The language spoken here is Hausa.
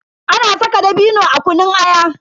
Ana saka dabino a kunun aya.